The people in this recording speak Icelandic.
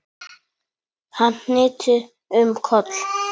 Hann hnyti um koll!